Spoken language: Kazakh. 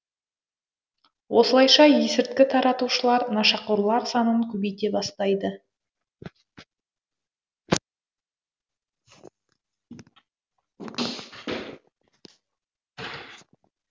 осылайша есірткі таратушылар нашақорлар санын көбейте бастайды